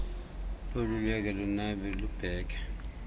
loluleke lunabe lubheke